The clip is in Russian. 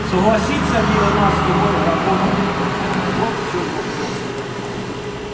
согласится ли она с тобой работать вот в чем вопрос